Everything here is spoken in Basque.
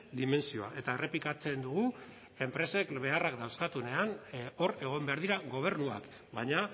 dimentsioa eta errepikatzen dugu enpresek beharrak dauzkatenean hor egon behar dira gobernuak baina